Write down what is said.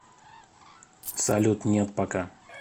салют нет пока